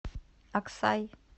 аксай